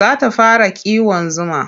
Za ta fara kiwon zuma.